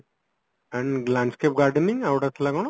and landscape gardening ଆଉ ଗୋଟେ ଥିଲା କଣ